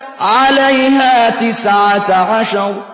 عَلَيْهَا تِسْعَةَ عَشَرَ